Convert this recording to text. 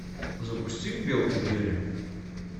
запусти белки в деле